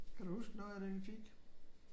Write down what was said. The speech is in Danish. Kan du huske noget af det vi fik?